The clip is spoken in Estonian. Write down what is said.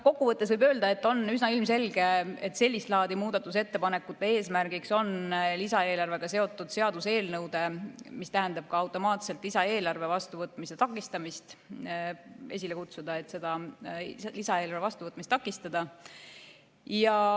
Kokkuvõttes võib öelda, et on üsna ilmselge, et sellist laadi muudatusettepanekute eesmärgiks on lisaeelarvega seotud seaduseelnõude, mis tähendab automaatselt ka lisaeelarvet, vastuvõtmist takistada.